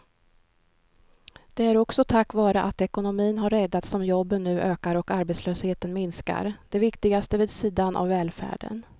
Det är också tack vare att ekonomin har räddats som jobben nu ökar och arbetslösheten minskar, det viktigaste vid sidan av välfärden.